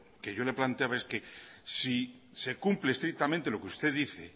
que yo le planteaba es que si se cumple estrictamente lo que usted dice